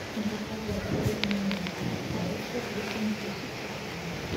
заказать пельмени от палыча весом тысячу грамм